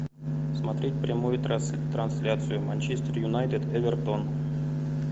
смотреть прямую трансляцию манчестер юнайтед эвертон